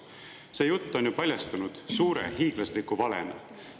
See jutt on ju paljastunud suure, hiiglasliku valena.